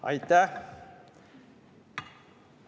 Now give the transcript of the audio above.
Aitäh!